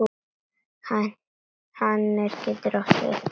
Hænir getur átt við